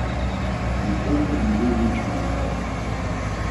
Poleg doma so postavili še depandanse, smučarske vlečnice in rokometno igrišče.